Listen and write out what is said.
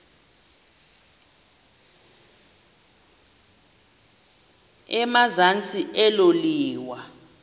emazantsi elo liwa